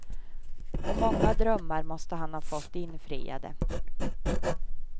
Och många drömmar måste han ha fått infriade.